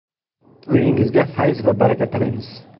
Uyingizga fayz va baraka tilaymiz.